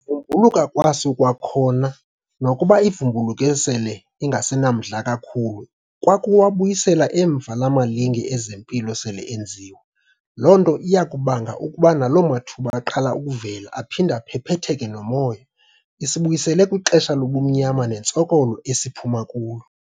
vumbuluka kwaso kwakhona nokuba ivumbuluke sele ingasenamandla kakhulu kwakuwabuyisela emva la malinge ezempilo sele enziwe. Lo nto iyakubanga ukuba nalo mathuba aqala ukuvela aphinde aphephetheke nomoya, isibuyisele kwixesha lobumnyama nentsokolo esiphuma kulo.